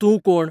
तूं कोण?